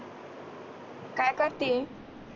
काय करती